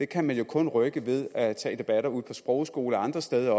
kan man jo kun rykke ved at tage debatter ude på sprogskoler og andre steder